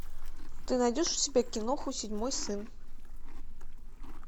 ты найдешь у себя киноху седьмой сын